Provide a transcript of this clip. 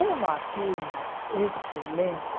Uma turma excelente...